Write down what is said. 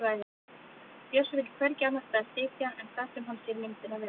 Bjössi vill hvergi annars staðar sitja en þar sem hann sér myndina vel.